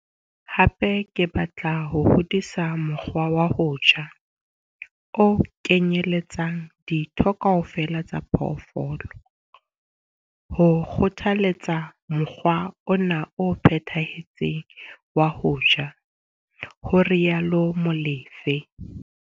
Hape ke batla ho hodisa mokgwa wa ho ja o kenyeletsang ditho kaofela tsa phoofolo, ho kgothaletsa mokgwa ona o phethahetseng wa ho ja, ho rialo Molefe.